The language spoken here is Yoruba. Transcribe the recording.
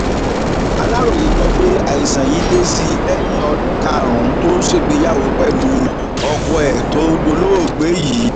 aláròye gbọ́ pé àìsàn yìí dé sí i lẹ́yìn ọdún karùn-ún tó ṣègbéyàwó pẹ̀lú ọkọ ẹ̀ tó dolóògbé yìí